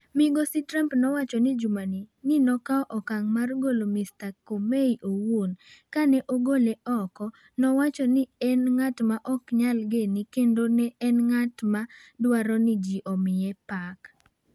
"""Migosi Trump nowacho jumani ni nokawo okang' mar golo Mr Comey owuon, Ka ne ogole oko, nowacho ni en ng’at ma ok nyal gene kendo ni en ng’at ma dwaro ni ji omiye pak.